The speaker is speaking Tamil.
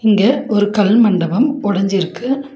இங்க ஒரு கல் மண்டபம் ஒடஞ்சிருக்கு.